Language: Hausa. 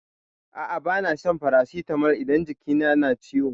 A'a bana shan farasitamol idan jiki na na ciwo.